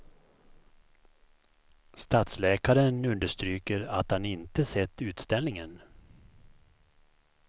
Stadsläkaren understryker att han inte sett utställningen.